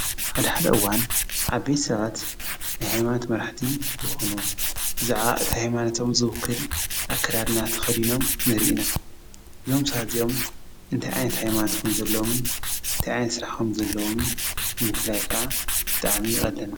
ኣድሕደእዋን ዓቤት ሰባት ነኃይማት መራሕቲ ዝኾኑ ብዛዓ እቲ ሕይማነቶም ዘውክል ኣክዳድና ተኸዲኖም ንርእና ዞምሳእዝኦም እንቲ ዓንት ሕይማትኩም ዘሎምን ንቲይኣይን ሥራሕኾም ዘሎምን ንምፍላይካ ብጠዓሚ ይቀለና።